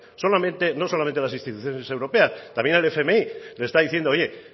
no solamente las instituciones europeas también el fmi le está diciendo oye